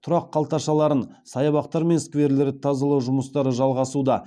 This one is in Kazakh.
тұрақ қалташаларын саябақтар мен скверлерді тазалау жұмыстары жалғасуда